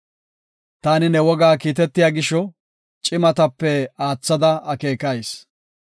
Taani ne wogaa kiitetiya gisho, cimatape aathada akeekayis.